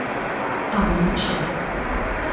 облучья